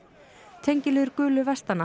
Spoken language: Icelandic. tengiliður gulu